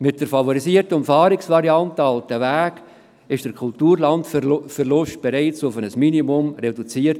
Mit der favorisierten Umfahrungsvariante «Altenweg» wurde der Kulturlandverlust bereits auf ein Minimum reduziert.